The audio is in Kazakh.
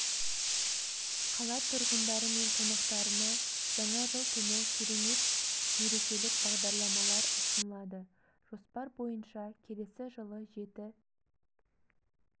қала тұрғындары мен қонақтарына жаңа жыл түні керемет мерекелік бағдарламалар ұсынылады жоспар бойынша келесі жылы жеті